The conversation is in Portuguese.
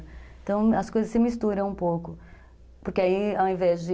Então as coisas se misturam um pouco, porque aí ao invés de...